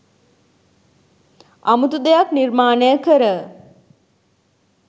අමුතු දෙයක් නිර්මාණය කර